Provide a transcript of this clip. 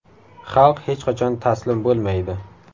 Xalq hech qachon taslim bo‘lmaydi.